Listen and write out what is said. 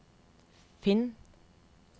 finn